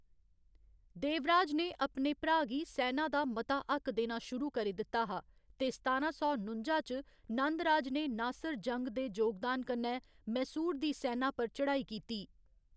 देवराज ने अपने भ्राऽ गी सैना दा मता हक्क देना शुरू करी दित्ता हा, ते सतारां सौ नुंजा च नंदराज ने नासिर जंग दे योगदान कन्नै मैसूर दी सैना पर चढ़ाई कीती।